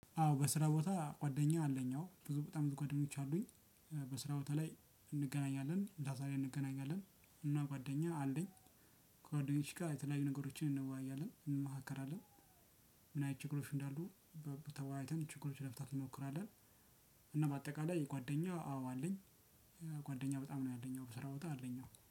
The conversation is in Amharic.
አዎ በስራ ቦታ ጓደኛ አለኝ አዎ ብዙ በጣም ብዙ ጓደኞች አሉኝ። በስራ ቦታ ላይ እንገናኛለን ምሳ ሰዓት ላይ እንገናኛለን እና ጓደኛ አለኝ። ከጓደኞቼ ጋር የተለያዩ ነገሮችን እንወያያለን እንመካከራለን። ምን አይነት ችግሮች እንዳሉ ተወዋይተን ችግሮችን ለመፍታት እንሞክራለን። እና በአጠቃላይ ጓደኛ አዎ አለኝ። ጓደኛ በጣም ነው ያለኝ አዎ በስራ ቦታ አለኝ አዎ።